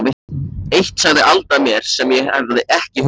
Eitt sagði Alda mér sem ég hafði ekki hugmynd um.